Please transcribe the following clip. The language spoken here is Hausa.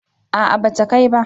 a'a ba ta kai ba